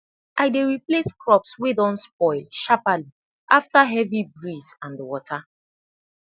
i dey replace crops wey don spoil sharpli afta heavy breeze and wata